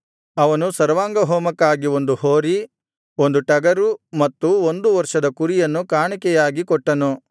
ಅವನು ಸರ್ವಾಂಗಹೋಮಕ್ಕಾಗಿ ಒಂದು ಹೋರಿ ಒಂದು ಟಗರು ಮತ್ತು ಒಂದು ವರ್ಷದ ಕುರಿಯನ್ನು ಕಾಣಿಕೆಯಾಗಿ ಕೊಟ್ಟನು